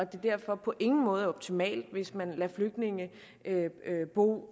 det derfor på ingen måde er optimalt hvis man lader flygtninge bo